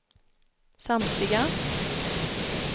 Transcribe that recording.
samtliga